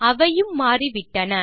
அவையும் மாறிவிட்டன